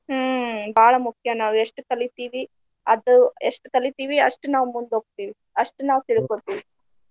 ಹ್ಮ್‌ ಬಾಳ ಮುಖ್ಯ ನಾವು ಎಷ್ಟ ಕಲಿತಿವಿ ಅದು ಎಷ್ಟ ಕಲಿತಿವಿ ಅಷ್ಟ ನಾವ ಮುಂದ ಹೋಗ್ತಿವಿ ಅಷ್ಟ ನಾವ ತಿಳ್ಕೊತೇವಿ.